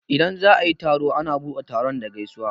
Idan za'a yi taro a na buɗe taron da gaisuwa.